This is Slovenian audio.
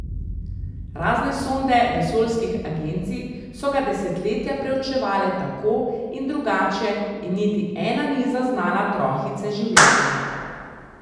Razne sonde vesoljskih agencij so ga desetletja preučevale tako in drugače in niti ena ni zaznala trohice življenja.